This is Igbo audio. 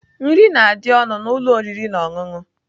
Nri na-adị ọnụ na ụlọ oriri na ọṅụṅụ